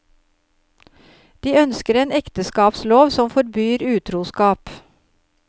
De ønsker en ekteskapslov som forbyr utroskap.